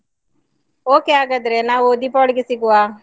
Okay ಹಾಗಾದ್ರೆ ನಾವು ದೀಪಾವಳಿಗೆ ಸಿಗುವ.